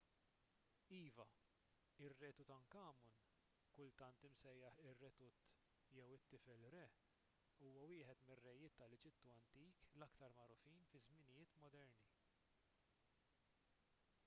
iva ir-re tutankhamun kultant imsejjaħ ir-re tut jew it-tifel re huwa wieħed mir-rejiet tal-eġittu antik l-aktar magħrufin fiż-żminijiet moderni